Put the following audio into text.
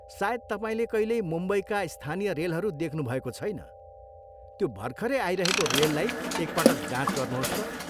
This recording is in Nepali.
सायद तपाईँले कहिल्यै मुम्बईका स्थानीय रेलहरू देख्नुभएको छैन, त्यो भर्खरै आइरहेको रेललाई एक पटक जाँच गर्नुहोस् त।